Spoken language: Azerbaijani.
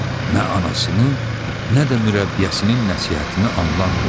Nə anasının, nə də mürəbbiyəsinin nəsihətini anlamırdı.